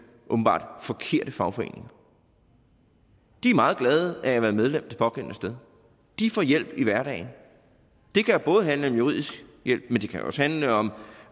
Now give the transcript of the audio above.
åbenbart forkerte fagforeninger de er meget glade for at være medlem det pågældende sted de får hjælp i hverdagen det kan både handle om juridisk hjælp men det kan jo også handle om